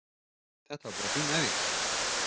Þetta var bara fín æfing.